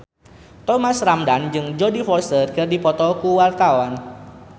Thomas Ramdhan jeung Jodie Foster keur dipoto ku wartawan